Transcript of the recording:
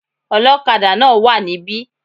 Olókadà náà wá níbí